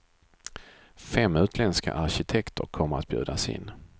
Fem utländska arkitekter kommer att bjudas in.